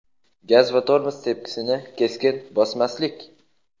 Gaz va tormoz tepkisini keskin bosmaslik;.